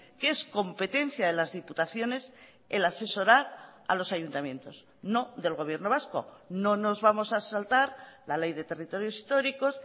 que es competencia de las diputaciones el asesorar a los ayuntamientos no del gobierno vasco no nos vamos a saltar la ley de territorios históricos